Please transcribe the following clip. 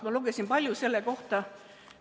Ma lugesin palju selle kohta.